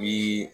Bi